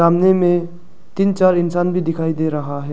सामने में तीन चार इंसान भी दिखाई दे रहा है।